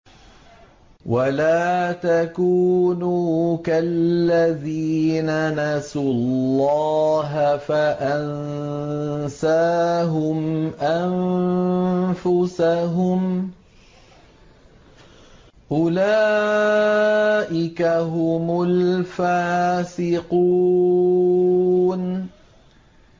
وَلَا تَكُونُوا كَالَّذِينَ نَسُوا اللَّهَ فَأَنسَاهُمْ أَنفُسَهُمْ ۚ أُولَٰئِكَ هُمُ الْفَاسِقُونَ